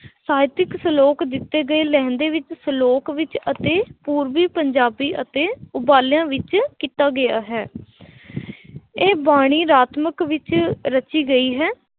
ਸਾਹਿਤਕ ਸ਼ਲੋਕ ਦਿੱਤੇ ਗਏ ਲਹਿੰਦੇ ਵਿੱਚ ਸ਼ਲੋਕ ਵਿੱਚ ਅਤੇ ਪੂਰਬੀ ਪੰਜਾਬੀ ਅਤੇ ਉਬਾਲਿਆਂ ਵਿੱਚ ਕੀਤਾ ਗਿਆ ਹੈ ਇਹ ਬਾਣੀ ਰਾਤਮਕ ਵਿੱਚ ਰਚੀ ਗਈ ਹੈ